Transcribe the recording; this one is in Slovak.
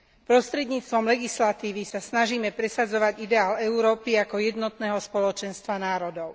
Prostredníctvom legislatívy sa snažíme presadzovať ideál Európy ako jednotného spoločenstva národov.